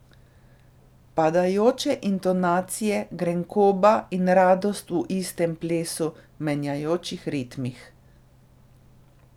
Padajoče intonacije, grenkoba in radost v istem plesu, menjajočih ritmih ...